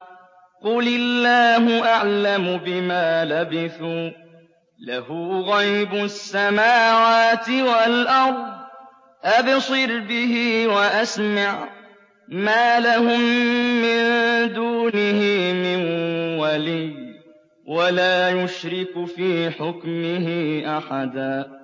قُلِ اللَّهُ أَعْلَمُ بِمَا لَبِثُوا ۖ لَهُ غَيْبُ السَّمَاوَاتِ وَالْأَرْضِ ۖ أَبْصِرْ بِهِ وَأَسْمِعْ ۚ مَا لَهُم مِّن دُونِهِ مِن وَلِيٍّ وَلَا يُشْرِكُ فِي حُكْمِهِ أَحَدًا